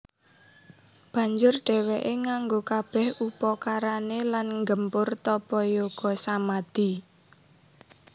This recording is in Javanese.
Banjur dhèwèké nganggo kabèh upakarané lan nggempur tapa yoga samadi